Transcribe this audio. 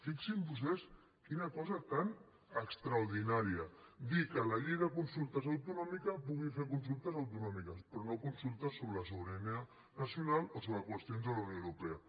fixin se vostès quina cosa tan extraordinària dir que la llei de consultes autonòmica pugui fer consultes autonòmiques però no consultes sobre sobirania nacional o sobre qüestions de la unió europea